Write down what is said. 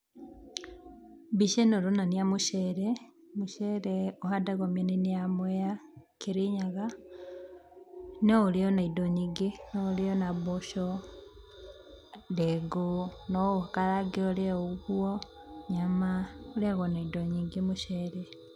Mbica ĩno ĩronania mũcere, mũcere ũhandagwo mĩenainĩ ya Mwea, Kĩrĩnyaga. No ũrĩo na indo nyingĩ, no ũrĩo na mboco, ndengũ no ũkarange ũrĩe ũguo, nyama, ũrĩyagwo na indo nyingĩ mũcere.